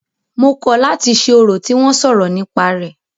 Mo kọ̀ láti ṣe orò tí wọ́n sọ̀rọ̀ nípa rẹ̀.